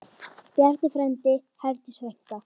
Bjarni frændi, Herdís frænka.